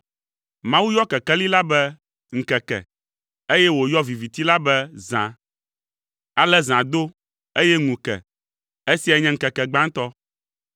Mawu yɔ kekeli la be “ŋkeke,” eye wòyɔ viviti la be “zã.” Ale zã do, eye ŋu ke. Esiae nye ŋkeke gbãtɔ.